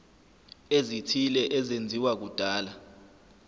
ezithile ezenziwa kudala